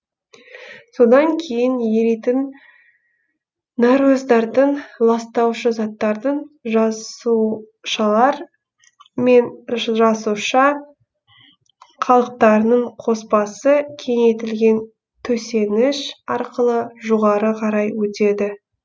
содан кейін еритін нәруыздардың ластаушы заттардың жасушалар мен жасуша қалдықтарының қоспасы кеңейтілген төсеніш арқылы жоғары қарай өтеді